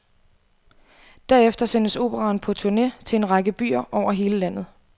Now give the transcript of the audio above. Derefter sendes operaen på turne til en række byer over hele landet.